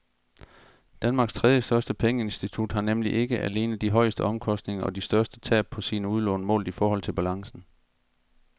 Danmarks tredjestørste pengeinstitut har nemlig ikke alene de højeste omkostninger og de største tab på sine udlån målt i forhold til balancen.